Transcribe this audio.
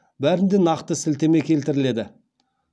бәрінде нақты сілтеме келтіріледі